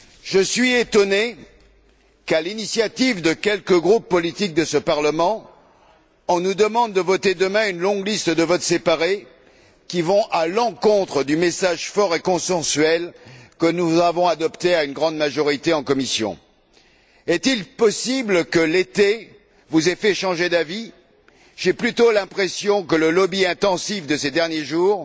Je suis étonné qu'à l'initiative de quelques groupes politiques de ce Parlement, on nous demande de voter demain une longue liste de votes séparés qui vont à l'encontre du message fort et consensuel que nous avons adopté à une grande majorité en commission. Est il possible que l'été vous ait fait changer d'avis? J'ai plutôt l'impression que le lobbying intensif pratiqué ces derniers jours